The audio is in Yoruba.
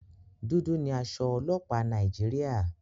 Dúdú ni aṣọ ọlọ́pàá Nàìjíríà.